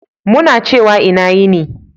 Muna ciwa ina yini.